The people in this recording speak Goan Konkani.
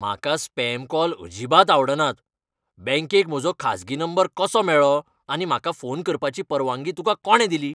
म्हाका स्पॅम कॉल अजिबात आवडनात. बँकेक म्हजो खासगी नंबर कसो मेळ्ळो आनी म्हाका फोन करपाची परवानगी तुका कोणें दिली?